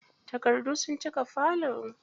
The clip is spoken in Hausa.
Takardu sun cika falo.